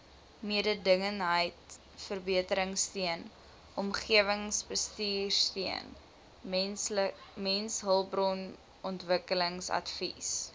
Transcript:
mededingendheidsverbeteringsteun omgewingsbestuursteun mensehulpbronontwikkelingsadvies